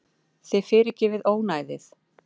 Þið fyrirgefið ónæðið.